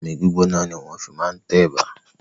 Omi gbígbóná ni wọ́n fi máa ń tẹ ẹ̀bà.